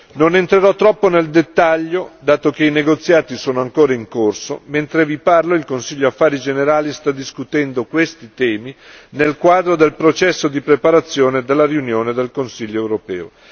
Non entrerò troppo nel dettaglio, dato che i negoziati sono ancora in corso, mentre vi parlo il Consiglio Affari generali sta discutendo questi temi nel quadro del processo di preparazione della riunione del Consiglio europeo.